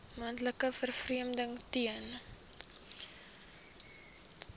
moontlike vervreemding ten